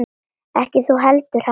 Ekki þú heldur hann.